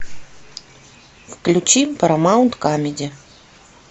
включи парамаунт камеди